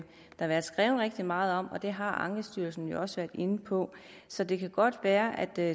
der været skrevet rigtig meget om og det har ankestyrelsen jo også været inde på så det kan godt være at der